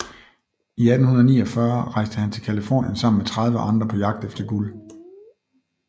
I 1849 rejste han til Californien sammen med 30 andre på jagt efter guld